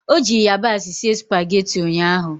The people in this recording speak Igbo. Ọ ji ịyabasị sie spageti ụnyaahụ?